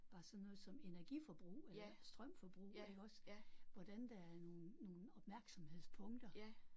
Bare sådan noget som energiforbrug eller strømforbrug iggås hvordan der er nogle nogle opmærksomhedspunkter